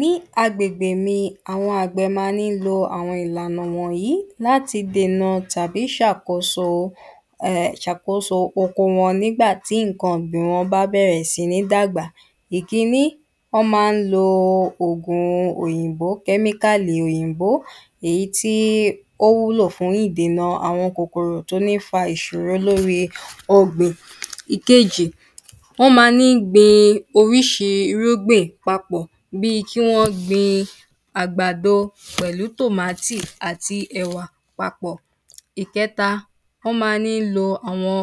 ní agbègbè mi àwọn àgbẹ̀ máa ní lo àwọn ìlànà wọ̀nyí láti dènà tàbí ṣàkóso hẹẹ̀ sàkóso oko wọn nígba tí nǹkan ọ̀gbìn wọn bá bẹ̀rẹ̀ sí ní dàgbà ìkíní wọ́n máa ń lo òògùn òyìnbó kẹ́míkálì òyìnbó èyí tí ó wúlò fún ìdènà àwọn kòkòrò tó ní fa ìṣòro lórí i ọ̀gbìn ìkejì wọ́n máa ní gbin oríṣi irúgbìn papọ̀ bíi kí wọ́n gbin àgbàdo pẹ̀lú tómátì àti ẹ̀wà papọ̀ ìkẹta wọ́n máa ní lo àwọn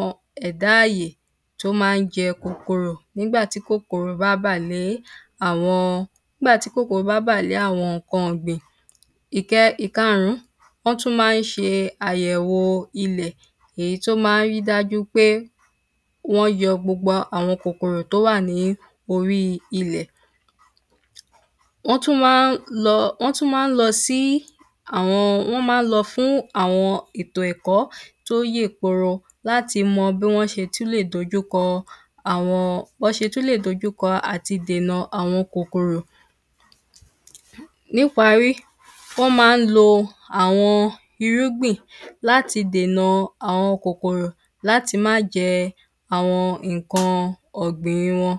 ẹ̀dá ààyè tó máa ń jẹ kòkòrò nígbà tí kòkòrò bá bà lé àwọn nígbà tí kòkòrò bá bà lé àwọn nǹkan ọ̀gbìn ìkẹ ìkarùn-ún wọ́n tún máa ń ṣe àyẹ̀wò ilẹ̀ èyí tó máa ń rí dájú pé wọ́n yọ gbogbo àwọn kòkòrò tó wà ní orí ilẹ̀ wọ́n tún máa ń lọ wọ́n tún máa ń lọ sí àwọn wọ́n máa ń lọ fún àwọn ètò ẹ̀kọ́ tó yè kooro láti mọ bí wọn ṣe tún lè dojúkọ àwọn b’án ṣe tún lè dojúkọ àtidènà àwọn kòkòrò ní’parí wọ́n máa ń lo àwọn irúgbìn láti dènà àwọn kòkòrò láti má jẹ àwọn nǹkan ọ̀gbìn wọn